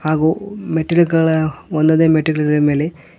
ಹಾಗು ಮೆಟ್ಟಿಲುಗಳ ಒಂ ಒಂದೇ ಮೆಟ್ಟಿಲಿನ ಮೇಲೆ--